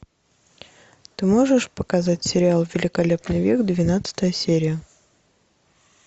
ты можешь показать сериал великолепный век двенадцатая серия